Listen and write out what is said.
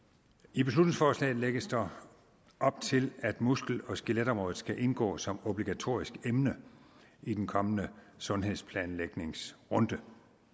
i beslutningsforslaget lægges der op til at muskel og skeletområdet skal indgå som obligatorisk emne i den kommende sundhedsplanlægningsrunde